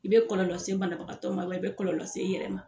I bɛ kɔlɔlɔ se bana bagatɔ ma wa i bɛ kɔlɔlɔ se i yɛrɛ ma.